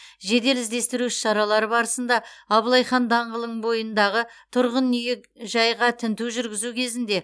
жедел іздестіру іс шаралары барысында абылай хан даңғылын бойындағы тұрғын үйі жайға тінту жүргізу кезінде